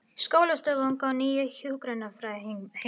Skóflustunga að nýju hjúkrunarheimili